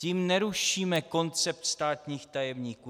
Tím nerušíme koncept státních tajemníků.